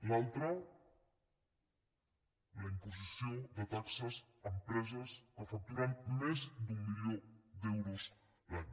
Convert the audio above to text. l’altre la imposició de taxes empreses que facturen més d’un milió d’euros l’any